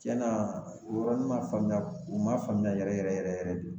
Cɛna o yɔrɔnin ma faamuya o ma faamuya yɛrɛ yɛrɛ de